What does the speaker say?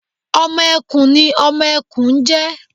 ọmọ ẹkùn ni ọmọ ẹkùn n jẹ